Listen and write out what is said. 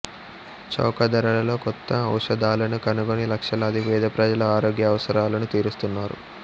చౌక ధరలలో కొత్త ఔషధాలను కనుగొని లక్షలాది పేద ప్రజల ఆరోగ్య అవసరాలను తీరుస్తున్నారు